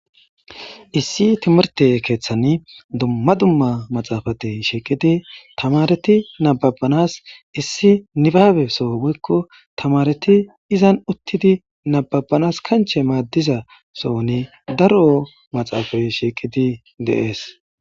Issi timirte keeththan dumma dumma maxaafatey shiiqidi tamareti nababbanas issi nibaabe soo woykko tamareti izan uttidi nababanas kanche maaddiza sohni daro maxaafay shiiqidi deees.